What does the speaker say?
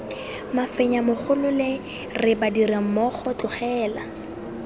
mafenya mogolole re badirammogo tlogela